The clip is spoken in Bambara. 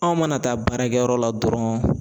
Anw mana taa baarakɛyɔrɔ la dɔrɔn